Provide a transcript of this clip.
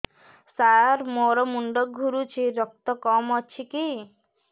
ସାର ମୋର ମୁଣ୍ଡ ଘୁରୁଛି ରକ୍ତ କମ ଅଛି କି